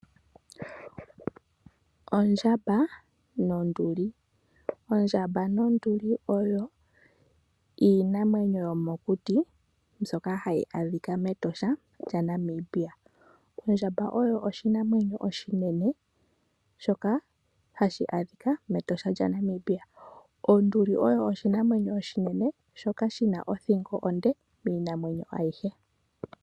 Ondjamba nonduli. Ondjamba nonduli oyo iinamwenyo yomokuti mbyoka hayi adhika mEtosha lya Namibia. Ondjamba oyo oshinamwenyo oshinene shoka hashi adhika mEtosha lya Namibia. Onduli oyo oshinamwenyo shimwe shoka shi na othingo onde miinamwenyo ayihe.